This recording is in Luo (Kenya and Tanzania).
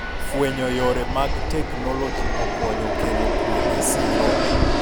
fwenyo yore mag teknoloji okonyo kelo kwe e siro